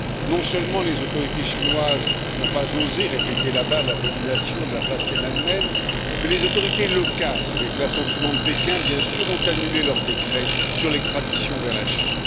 Non seulement les autorités chinoises n'ont pas osé répéter là bas l'abomination de la place Tiananmen, mais les autorités locales, avec l'assentiment de Pékin, bien sûr, ont annulé leur décret sur l'extradition vers la Chine.